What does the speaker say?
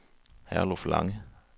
Herluf Lange